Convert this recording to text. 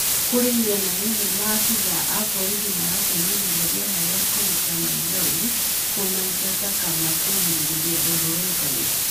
Kũrĩ mĩena ĩmwe maabĩthaa a borĩthĩ maratũmĩrĩre rĩera rĩa kũrũta maĩthorĩ kumaĩngata kana kũgirĩrĩria arũrũngani